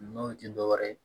N'o tɛ dɔwɛrɛ ye